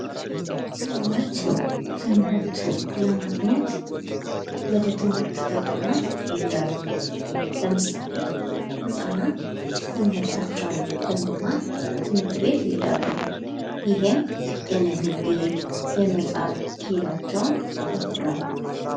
ሰዎች ትምህርት ለማግኘት ወደ ትምህርት ተቋማት ይሄዳሉ። ለምሳሌ:-ህፃናት ትምህርታቸውን ለመማር ትምህርት ቤት ይሄም የንግግር፤ የመጽሐፍ ክሂላቸውን ያዳብራሉ።